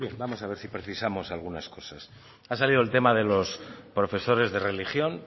bien vamos a ver si precisamos algunas cosas ha salido el tema de los profesores de religión